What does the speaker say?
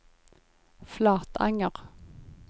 Flatanger